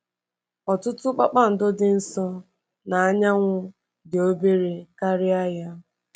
Ọtụtụ kpakpando dị nso na anyanwụ dị obere karịa ya.